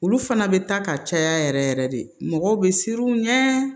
Olu fana bɛ taa ka caya yɛrɛ yɛrɛ de mɔgɔ bɛ siran u ɲɛ